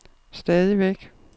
stadigvæk